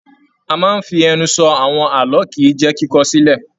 A máa n fí ẹnu sọ àwọn ààlọ́ kìí jẹ kíkọ sílẹ̀.